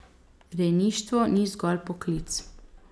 Rejništvo ni zgolj poklic.